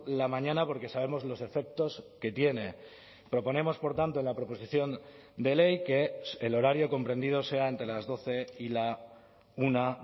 la mañana porque sabemos los efectos que tiene proponemos por tanto en la proposición de ley que el horario comprendido sea entre las doce y una